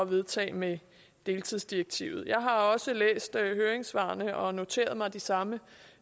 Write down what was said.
vedtage med deltidsdirektivet jeg har også læst høringssvarene og noteret mig de samme